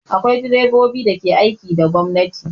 Akwai direbobi da ke aiki da gwamnati.